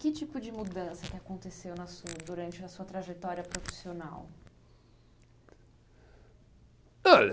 Que tipo de mudança que aconteceu na sua, durante, na sua trajetória profissional. Olha